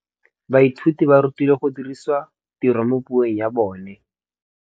Baithuti ba rutilwe go dirisa tirwa mo puong ya bone.